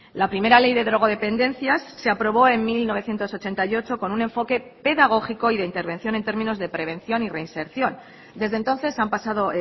la primera ley de drogodependencias se aprobó en mil novecientos ochenta y ocho con un enfoque pedagógico y de intervención en términos de prevención y reinserción desde entonces han pasado